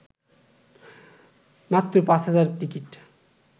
মাত্র ৫ হাজার টিকিট